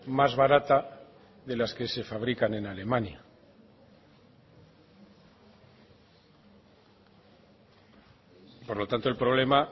más barata de las que se fabrican en alemania por lo tanto el problema